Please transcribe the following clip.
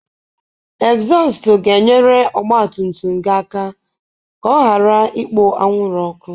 Egzọst ga-enyere ọgba tum tum gị aka ka ọ ghara ịkpo anwụrụ ọkụ